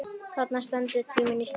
Þarna stendur tíminn í stað.